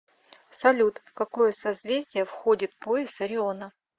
салют в какое созвездие входит пояс ориона